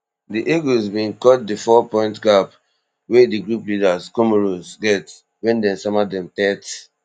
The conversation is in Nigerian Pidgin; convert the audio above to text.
di eagles bin cut di four point gap wey di group leaders comoros get wen dem sama dem thirty